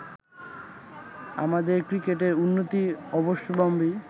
আমাদের ক্রিকেটের উন্নতি অবশ্যম্ভাবী